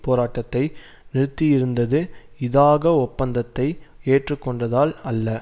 போராட்டத்தை நிறுத்தியிருந்தது இதாக ஒப்பந்தத்தை ஏற்றுக்கொண்டதால் அல்ல